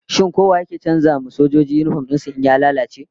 Shin ko wa yake canza wa sojoji yinifom din su in ya lalace?